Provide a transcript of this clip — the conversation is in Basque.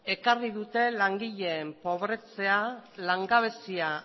ekarri dute langileen pobretzea langabezia